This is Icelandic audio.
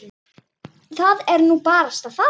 Það er nú barasta það.